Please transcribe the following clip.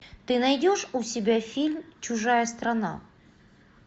ты найдешь у себя фильм чужая страна